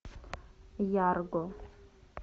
ярго